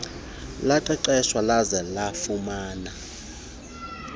laqeqeshwa laze lafumana